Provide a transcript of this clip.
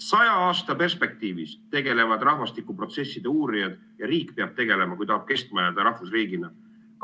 Saja aasta perspektiivis tegutsevad rahvastikuprotsesside uurijad ja peab tegutsema riik, kui ta tahab kestma jääda rahvusriigina.